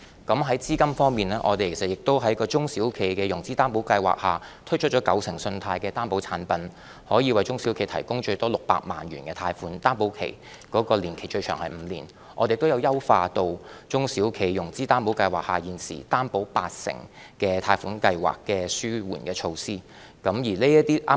在資金方面，我們在中小企融資擔保計劃下，推出九成信貸的擔保產品，可以為中小企提供最多600萬元的貸款，擔保年期最長為5年；我們亦已優化中小企融資擔保計劃下現時擔保八成貸款計劃的紓緩措施。